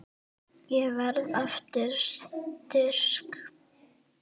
Ég verð aftur styrk.